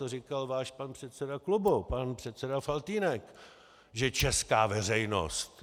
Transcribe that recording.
To říkal váš pan předseda klubu, pan předseda Faltýnek, že česká veřejnost.